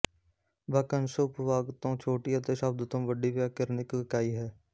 ਵਾਕੰਸ਼ ਉਪਵਾਕ ਤੋਂ ਛੋਟੀ ਅਤੇ ਸ਼ਬਦ ਤੋਂ ਵੱਡੀ ਵਿਆਕਰਨਿਕ ਇਕਾਈ ਹੈ